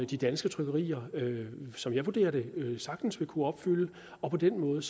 de danske trykkerier som jeg vurderer det sagtens vil kunne opfylde og på den måde